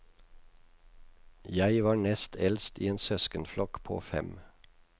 Jeg var nest eldst i en søskenflokk på fem.